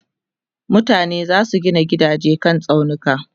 mutane zasu Gina gidaje kan tsaunuka